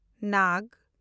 ᱱᱟᱜᱽ